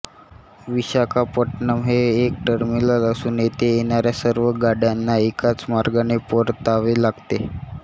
विशाखापट्टणम हे एक टर्मिनल असून येथे येणाऱ्या सर्व गाड्यांना एकाच मार्गाने परतावे लागते